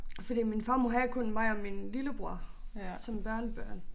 Fordi min farmor havde kun mig og min lillebror som børnebørn